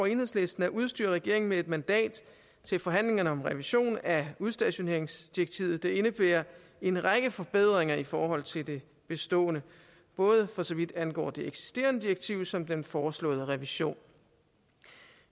enhedslisten at udstyre regeringen med et mandat til forhandlingerne om en revision af udstationeringsdirektivet der indebærer en række forbedringer i forhold til det bestående både for så vidt angår det eksisterende direktiv som den foreslåede revision